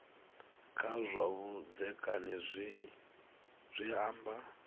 kha zwa vhudzekani zwi amba